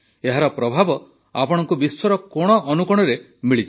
ଏହାର ପ୍ରଭାବ ଆପଣଙ୍କୁ ବିଶ୍ୱର କୋଣଅନୁକୋଣରେ ମିଳିଯିବ